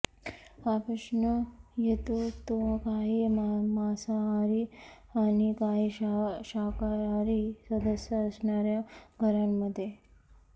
हा प्रश्न येतो तो काही मांसाहारी आणि काही शाकाहारी सदस्य असणाऱ्या घरांमध्ये